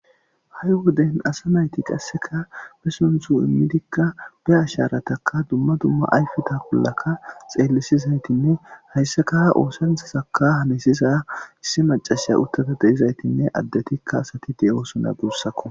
Hai wodden asa nayti qasseka be sunththu immidika be ashsharataka dumma dumma ayfetta bollaka xellisizayttinne hayssaka ha osanchazaka hallisiza issi maccasiya uttadi deizayttine addetika asati deossona guusssko.